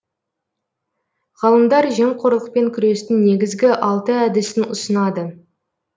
ғалымдар жемқорлықпен күрестің негізгі алты әдісін ұсынады